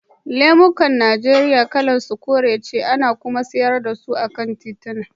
Lemo a Nijeriya kalar sa kore ce, ana kuma sayar da su a kan tituna.